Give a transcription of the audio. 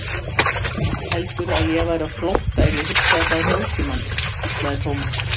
Heldurðu að ég væri á flótta ef ég hugsaði bara um nútímann? hvíslaði Thomas.